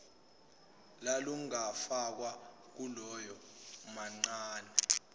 lalungafakwa kuloya mamncane